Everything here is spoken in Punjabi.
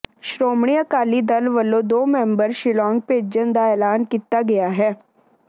ਸ਼੍ਰੋਮਣੀ ਅਕਾਲੀ ਦਲ ਵੱਲੋਂ ਦੋ ਮੈਂਬਰ ਸ਼ਿਲਾਂਗ ਭੇਜਣ ਦਾ ਐਲਾਨ ਕੀਤਾ ਗਿਆ ਹੈ